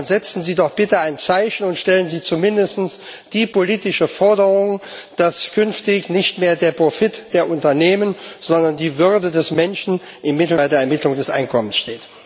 Dann setzen Sie doch bitte ein Zeichen und stellen Sie zumindest die politische Forderung, dass künftig nicht mehr der Profit der Unternehmen, sondern die Würde des Menschen bei der Ermittlung des Einkommens im Mittelpunkt steht.